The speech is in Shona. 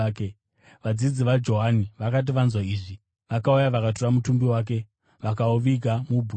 Vadzidzi vaJohani vakati vanzwa izvi vakauya vakatora mutumbi wake vakauviga mubwiro.